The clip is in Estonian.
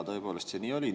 Tõepoolest see nii oli.